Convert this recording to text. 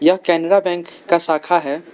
यह केनरा बैंक का शाखा है।